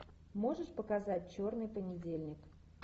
можешь показать черный понедельник